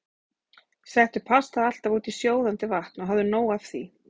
Settu pastað alltaf út í sjóðandi vatn og hafðu nóg af því.